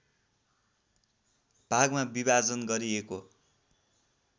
भागमा विभाजन गरिएको